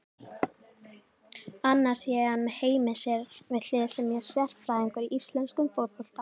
Annars sé hann með Heimi sér við hlið sem sé sérfræðingur í íslenskum fótbolta.